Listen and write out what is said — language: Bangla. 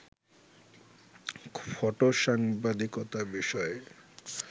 ফটোসাংবাদিকতা বিষয়ে